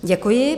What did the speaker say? Děkuji.